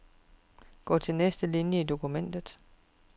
Gå til næste linie i dokumentet.